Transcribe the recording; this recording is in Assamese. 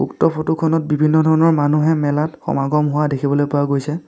উক্ত ফটো খনত বিভিন্ন ধৰণৰ মানুহে মেলাত সমাগম হোৱা দেখিবলৈ পোৱা গৈছে।